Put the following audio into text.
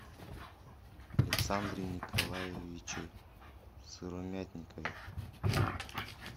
александре николаевиче сыромятникове